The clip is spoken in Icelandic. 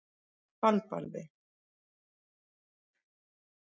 Dalbarði